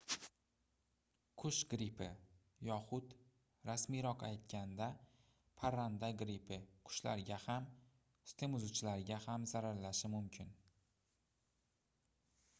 qush grippi yoxud rasmiyroq aytganda parranda grippi qushlarga ham sutemizuvchilarga ham zararlashi mumkin